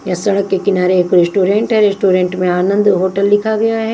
यह सड़क के किनारे एक रेस्टोरेंट है रेस्टोरेंट में आनंद होटल लिखा गया है।